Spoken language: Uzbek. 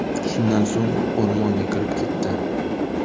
Shundan so‘ng u o‘rmonga kirib ketdi.